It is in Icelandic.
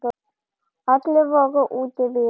Allir voru úti við.